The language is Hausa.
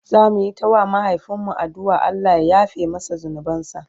zamuyi ta wa mahaifin mu addu'an Allah ya yafe masa zunubansa